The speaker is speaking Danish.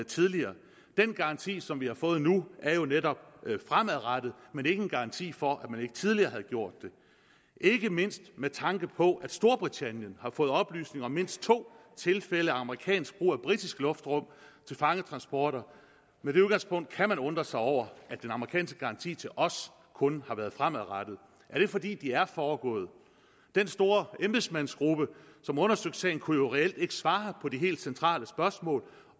tidligere den garanti som vi har fået nu er jo netop fremadrettet men ikke en garanti for at man ikke tidligere havde gjort det ikke mindst med tanke på at storbritannien har fået oplysninger om mindst to tilfælde af amerikansk brug af britisk luftrum til fangetransporter kan man undre sig over at den amerikanske garanti til os kun har været fremadrettet er det fordi de er foregået den store embedsmandsgruppe som undersøgte sagen kunne jo reelt ikke svare på de helt centrale spørgsmål